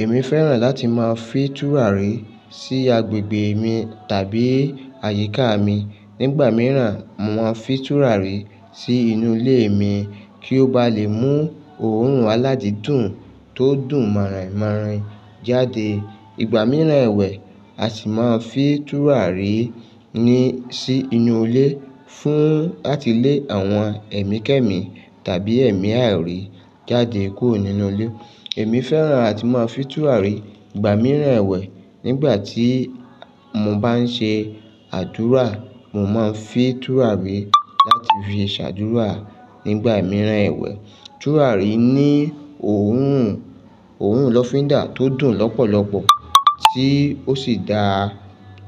Èmi fẹ́ràn láti máa fi tùràrí sí agbègbè mi tàbí àyíká mi. Nígbà mìíràn, mo máa n fin tùràrí sí inú ilé mi kí ó ba lè mú òórùn aládídùn tó dùn mọ̀-ìn-mọ̀-ìn jáde. Ìgbà mìíràn ẹ̀wẹ̀, a sì máa fin tùràrí ní sí inú ilé fún láti lé àwọn ẹ̀mí kẹ́ẹ̀mí tàbí ẹ̀mí àìrí jáde kúrò nínú ilé. Èmi fẹ́ràn láti máa fi tùràrí ìgbà mìíràn ẹ̀wẹ̀. Nígbà tí mo bá ń ṣe àdúrà, mo máa ń fi tùràrí láti fi ṣàdúrà nígbà mìíràn ẹ̀wẹ̀. Tùràrí ní òórùn, òórùn lọ́findà tó dùn lọ́pọ̀lọpọ̀ tí ó sì dáa